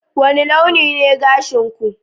wani launi ne gashin ku